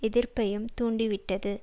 எதிர்ப்பையும் தூண்டி விட்டது